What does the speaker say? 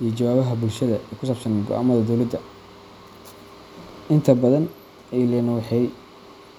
iyo jawaabaha bulshada ku saabsan go’aamada dowladda. Inta badan, ilahan waxay daaha.